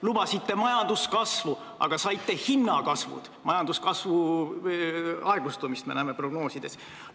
Lubasite majanduskasvu, aga saite hinnakasvu, prognoosides me näeme majanduskasvu aeglustumist.